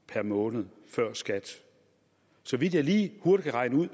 per måned før skat så vidt jeg lige hurtigt kan regne ud